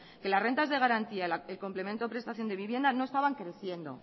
que las rentas de garantía el complemento prestación de vivienda no estaban creciendo